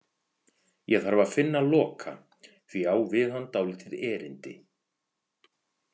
Ég þarf að finna Loka því ég á við hann dálítið erindi.